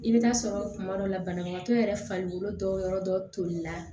I bɛ taa sɔrɔ kuma dɔ la banabagatɔ yɛrɛ farikolo tɔ yɔrɔ dɔ tolila